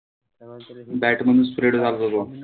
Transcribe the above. Bat मधून spread झालता तो.